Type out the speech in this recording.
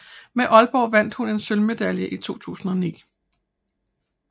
Med Aalborg vandt hun en sølvmedalje i 2009